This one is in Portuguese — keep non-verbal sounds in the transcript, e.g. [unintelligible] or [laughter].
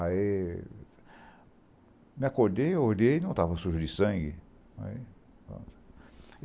Aí... Me acordei, olhei, não estava sujo de sangue. Aí [unintelligible]